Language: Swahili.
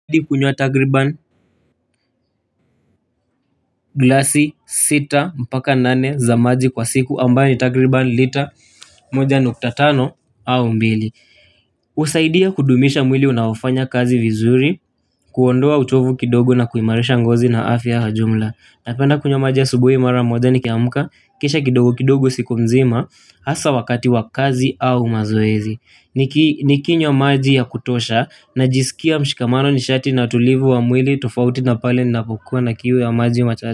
Mimi hukunywa takriban, glasi sita mpaka nane za maji kwa siku, ambayo ni takriban lita moja nukta tano au mbili. Husaidia kudumisha mwili unaofanya kazi vizuri, kuondoa uchovu kidogo na kuimarisha ngozi na afya kwa jumla. Napenda kunywa maji asubuhi mara moja nikiamka, kisha kidogo kidogo siku nzima, hasa wakati wa kazi au mazoezi. Nikinywa maji ya kutosha najisikia mshikamano nishati na utulivu wa mwili tofauti na pale ninapokuwa na kiu ya maji.